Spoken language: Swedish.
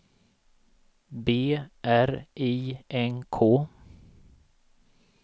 B R I N K